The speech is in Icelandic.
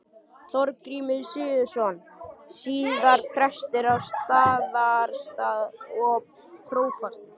Þorgrímur Sigurðsson, síðar prestur á Staðarstað og prófastur.